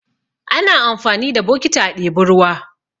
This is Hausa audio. Ana amfani da bokiti a ɗebi ruwa.